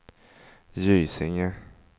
Gysinge